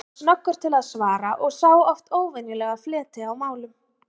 Hann var snöggur til svara og sá oft óvenjulega fleti á málum.